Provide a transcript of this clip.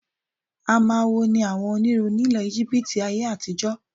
Amawo ni àwọn onírun ni ilẹ̀ Íjíbítì ayé-àtijọ.